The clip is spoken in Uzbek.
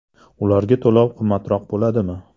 Ularda to‘lov qimmatroq bo‘ladimi?